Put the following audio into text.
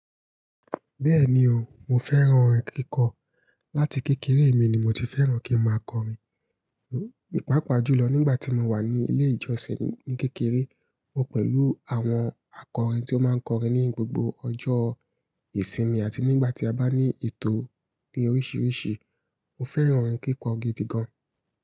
Bẹ́ẹ̀ni o, mo fẹ́ràn orin kíkọ. Láti kékeré mi ni mo ti fẹ́ràn kí n máa kọrin. Pàápàá jùlọ nígbà tí mo wà ní ilé ìjọsìn ní kékeré, mo pẹ̀lú àwọn akọrin tí ó máa ń kọrin ní gbogbo ọjọ́ ìsinmi àti nígbà tí a bá ní ètò ní oríṣiríṣi. Mo fẹ́ràn orin kíkọ gidi gan.